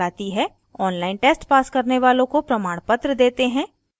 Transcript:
online test pass करने वालों को प्रमाणपत्र देते हैं